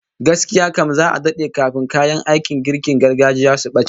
Gaskiya kam, za'a dade kafin kayan aikin girkin gargajiya su bace